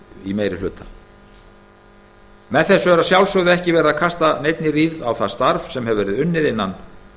í meiri hlutanum með þessu er að sjálfsögðu ekki verið að kasta neinni rýrð á það starf sem unnið hefur verið innan